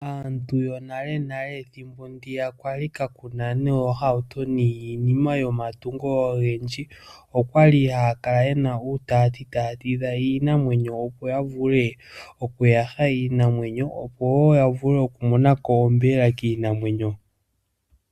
Aantu yonalenale ethimbo kwali kaaku na oohauto niinima yomatungo ogendji, okwali haya kala ye na uutati taya tidha iinamwenyo opo ya vule oku yaha iinamwenyo opo wo ya vule okumona ko onyama kiinamwenyo.